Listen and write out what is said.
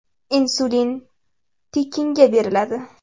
Insulin tekinga beriladi.